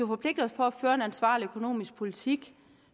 forpligter os på at føre en ansvarlig økonomisk politik